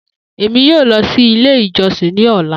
Emi yoo lọ si ile ijọsin ni ọla.